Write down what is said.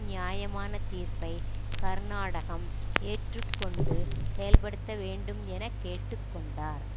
நியாயமான தீர்ப்பை கர்நாடகம் ஏற்றுக்கொண்டு செயல்படுத்த வேண்டும் என கேட்டு கொண்டார்